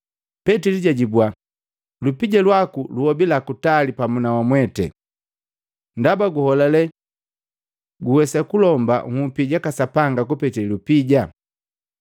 Petili jajibua, “Lupija lwaku luobila kutali pamu na wamweti, ndaba guholale guwesa kulomba nhupi jaka Sapanga kupete lupija!